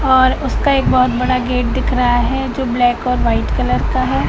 और उसका एक बहोत बड़ा गेट दिख रहा हैं जो ब्लैक और व्हाइट कलर का हैं।